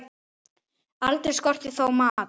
Aldrei skorti þó mat.